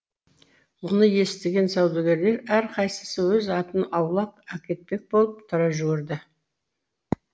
мұны естіген саудагерлер әрқайсысы өз атын аулақ әкетпек болып тұра жүгірді